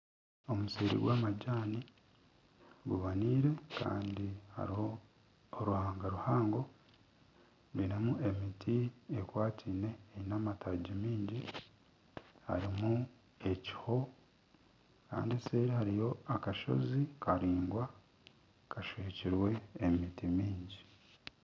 Omusiri gw'amajaani guboneire Kandi hariho oruhanga Ruhango rurimu emiti ekwataine Eine amataagi maingi harimu ekiho Kandi eseeri hariyo akasozi karaingwa kaswekirwe emiti mingi.